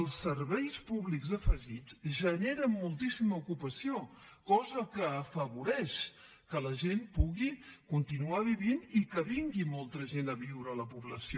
els serveis públics afegits generen moltíssima ocupació cosa que afavoreix que la gent pugui continuar vivint i que vingui molta gent a viure a la població